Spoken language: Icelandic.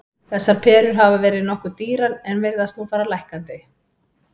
Þessar perur hafa verið nokkuð dýrar en virðast nú fara lækkandi.